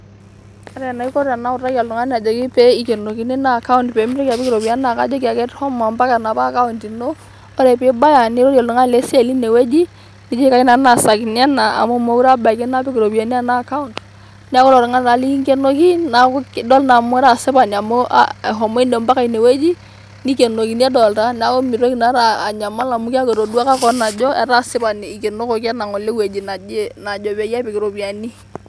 ore enaiko tenautaki oltungani pee ikienokini naa account pee mitoki apik iropiyiani naa kajoki ake shomo ompaka enapa account ino ore pibaya nirorie oltungani le siai linewueji ,nijoki kayieu nanu naasakini ena amu mokire abaiki napik iropiyiani ena account , neaku ilo tunani naa likikwenoki naa idol naa amu ira asipani amu ehomo mpaka ine wueji ,nikienokini edolta niaku mitoki inakata anyamal amu etoduaka kewon.